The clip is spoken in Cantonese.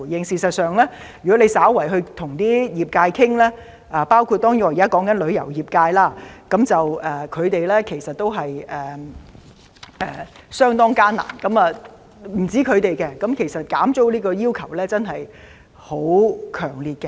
事實上，如果局長你與各業界稍作溝通——當然我現時提及的旅遊業界，他們的情況實在相當艱難——便會知道他們減租的要求真的很強烈。